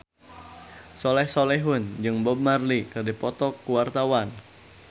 Soleh Solihun jeung Bob Marley keur dipoto ku wartawan